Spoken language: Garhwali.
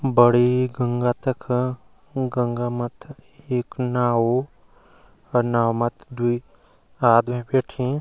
बड़ी गंगा तख गंगा मथ एक नाव अ नाव मथ्थी दुई आदमी बैठी।